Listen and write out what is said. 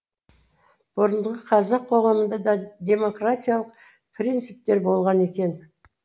бұрынғы қазақ қоғамында да демократиялық принциптер болған екен